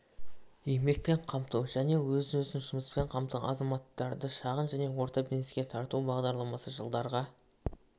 еңбекпен қамту және өзін өзі жұмыспен қамтыған азаматтарды шағын және орта бизнеске тарту бағдарламасы жылдарға